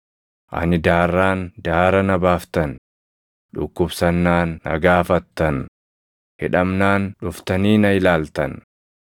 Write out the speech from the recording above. ani daarraan daara na baaftan; dhukkubsannaan na gaafattan; hidhamnaan dhuftanii na ilaaltan.’